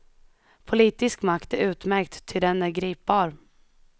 Politisk makt är utmärkt, ty den är gripbar.